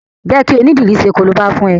Jẹ́ kí onídìri ṣe korobá fún ẹ!